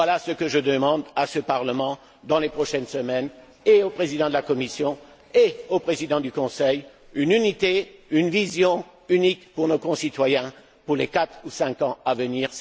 Voilà ce que je demande, pour les semaines à venir, à ce Parlement, ainsi qu'au Président de la Commission et au Président du Conseil une unité, une vision unique pour nos concitoyens pour les quatre ou cinq ans à venir.